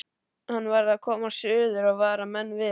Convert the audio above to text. Hann varð að komast suður og vara menn við.